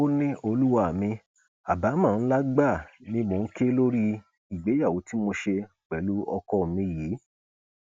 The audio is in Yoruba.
ó ní olúwa mi àbámọ ńlá gbáà ni mò ń ké lórí ìgbéyàwó tí mo ṣe pẹlú ọkọ mi yìí